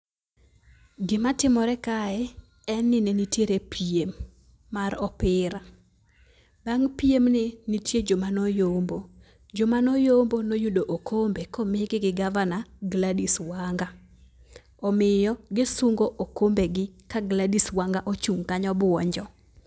Gima timore kae en ni ne nitiere piem mar opira. Bang' piemni nitie joma noyombo . Joma noyombo noyudo okombe komigi gi gavana Gladys Wanga. Omiyo gisungo okombe gi ka Gladys Wanga ochung' kanyo buonjo.